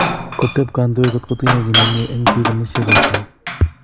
Kotep kondoig kotko tinye ki nemie en pik kanisyechotono.